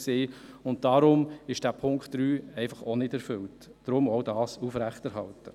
Deshalb ist der Punkt 3 noch nicht erfüllt, und man sollte ihn aufrechterhalten.